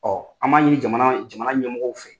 an b'a ɲini jamana jamana ɲɛmɔgɔw fɛ.